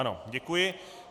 Ano, děkuji.